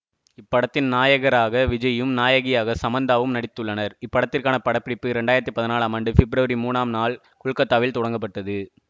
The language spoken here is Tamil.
இப்படத்தின் நாயகராக விஜய்யும் நாயகியாக சமந்தாவும் நடித்துள்ளனர் இப்படத்திற்கான படப்பிடிப்பு இரண்டு ஆயிரத்தி பதினாலாம் ஆண்டு பிப்ரவரி மூணாம் நாள் கொல்கத்தாவில் தொடங்கப்பட்டது